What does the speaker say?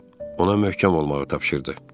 Ona möhkəm olmağı tapşırdı.